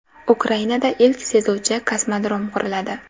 Ukrainada ilk suzuvchi kosmodrom quriladi.